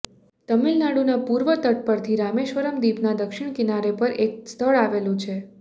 તમિલનાડુંના પૂર્વ તટ પરથી રામેશ્વરમ દ્રીપનાં દક્ષિણ કિનારે પર એક સ્થળ આવેલું છે